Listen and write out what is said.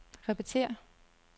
repetér